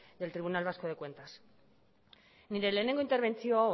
del tribunal vasco de cuentas nire lehenengo interbentzio